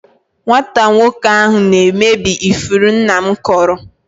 Nwata nwoke ahụ na-emebi ifuru nna m kụrụ.